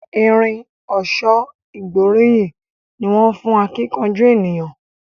Irin ọ̀ṣọ́ ìgbóríyìn ní wón fún akíkanjú ènìyàn.